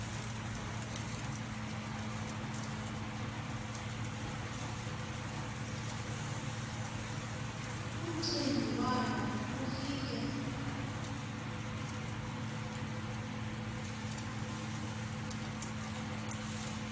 umcimbi walo ufike